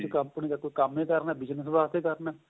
ਜ਼ੇ ਤੁਸੀਂ company ਦਾ ਕੋਈ ਕੰਮ ਏ ਕਰਨਾ bigness ਵਾਸਤੇ ਕਰਨਾ